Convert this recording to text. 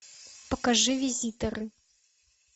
покажи визитеры